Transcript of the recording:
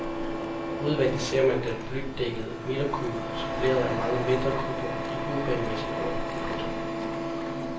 Udvendig ser man den blydækkede midterkuppel suppleret af mange mindre kupler i uregelmæssig orden. punktum